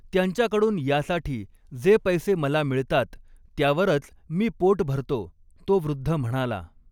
त्यांच्याकडून यासाठी जे पैसे मला मिळतात, त्यावरच मी पोट भरतो तो वृद्ध म्हणाला.